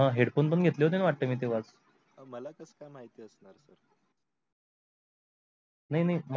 मला कस काय माहिती असणार sir